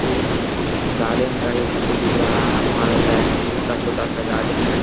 एक गार्डन का ये चित्र दिख रहा है वहां लगता है स्कूल का छोटा-सा गार्डन है।